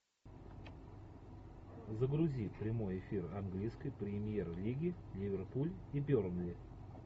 загрузи прямой эфир английской премьер лиги ливерпуль и бернли